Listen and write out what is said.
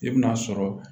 I bɛ n'a sɔrɔ